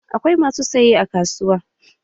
Akwai masu saye a kasuwa